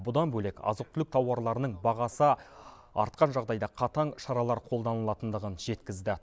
бұдан бөлек азық түлік тауарларының бағасы артқан жағдайда қатаң шаралар қолданылатындығын жеткізді